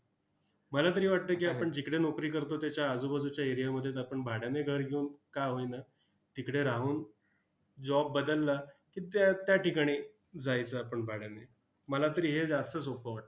मला तरी वाटतंय की, आपण जिकडे नोकरी करतो, त्याच्या आजूबाजूच्या area मध्येच आपण भाड्याने घर घेऊन का होईना, तिकडे राहून job बदलला की, त्या त्या ठिकाणी जायचं आपण भाड्याने. मला तरी हे जास्त सोपं वाटतं.